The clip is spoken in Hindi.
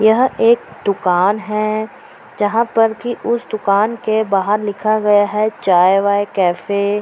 यह एक दुकान है जहाँ पर कि उसे दुकान के बाहर लिखा गया है चाय वाये कैफ़े ।